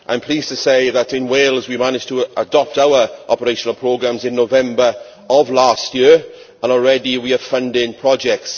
I am pleased to say that in Wales we managed to adopt our operational programmes in November of last year and already we are funding projects.